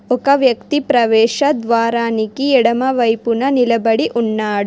ఒక వ్యక్తి ప్రవేశ ద్వారానికి ఎడమవైపున నిలబడి ఉన్నాడు.